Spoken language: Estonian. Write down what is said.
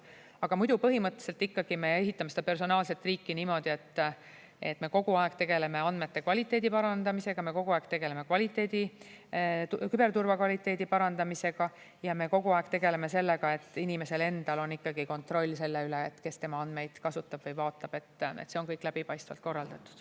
Aga põhimõtteliselt ikkagi me ehitame seda personaalset riiki niimoodi, et me kogu aeg tegeleme andmete kvaliteedi parandamisega, me kogu aeg tegeleme küberturvakvaliteedi parandamisega ja me kogu aeg tegeleme sellega, et inimesel endal on ikkagi kontroll selle üle, kes tema andmeid kasutab või vaatab, et see on kõik läbipaistvalt korraldatud.